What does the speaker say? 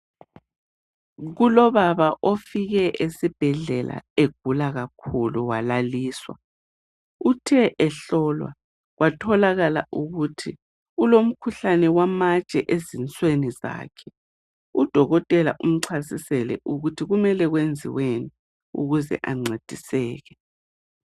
Kulobaba ofike esibhedlela egula kakhulu. Walaliswa. Uthe ehlolwa, watholakala ukuthi ulomkhuhlane wamatshe ezinsweni zakhe. Udokotela umchasisele ukuthi kumele kwenziweni ukuthi ancediseke.